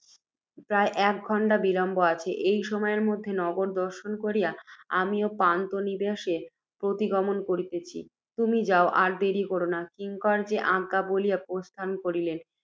প্রায় এক ঘণ্টা বিলম্ব আছে, এই সময় মধ্যে নগর দর্শন করিয়া, আমিও পান্থনিবাসে প্রতিগমন করিতেছি। তুমি যাও, আর দেরী করিও না। কিঙ্কর যে আজ্ঞা বলিয়া প্রস্থান করিলে,